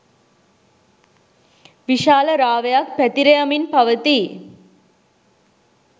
විශාල රාවයක් පැතිර යමින් පවතී